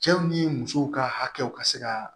Cɛw ni musow ka hakɛw ka se ka